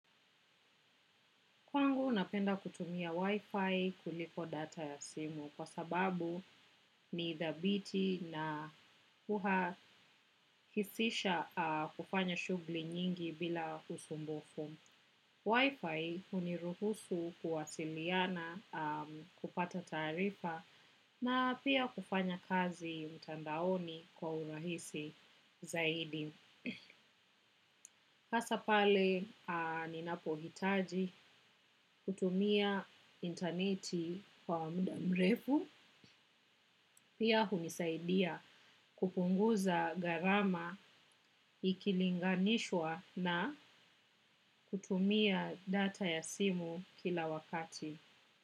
Kwangu napenda kutumia wifi kuliko data ya simu kwa sababu ni dhabiti na huhakisisha kufanya shughuli nyingi bila usumbufu. Wifi huniruhusu kuwasiliana kupata taarifa na pia kufanya kazi mtandaoni kwa urahisi zaidi. Hasa pale, ninapohitaji kutumia internet kwa muda mrefu. Pia hunisaidia kupunguza gharama ikilinganishwa na kutumia data ya simu kila wakati.